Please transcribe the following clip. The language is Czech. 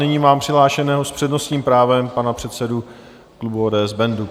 Nyní mám přihlášeného s přednostním právem pana předsedu klubu ODS Bendu.